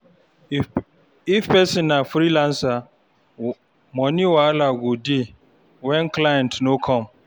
If person na freelancer, money wahala go dey when client no come